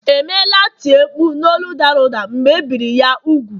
emela tie mkpu n’olu dara ụda mgbe e biri ya úgwù